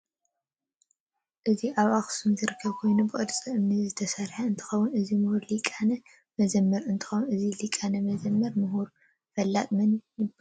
አዚ አብ ከተማ አክሱም ዝርከብ ኮይኑ ብቅርፂ አምኒ ዝተሰርሐ እትከውን እዚ መሁር ሊቀ መዘመር እንትከውን እዚ ለቀ መዘምራአን ሙሁር ፈላጥ መን የባሃል?